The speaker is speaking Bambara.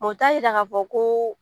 o t'a jira k'a fɔ ko